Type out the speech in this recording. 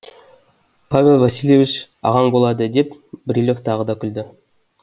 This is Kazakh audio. павел васильевич ағаң болады деп брилев тағы да күлді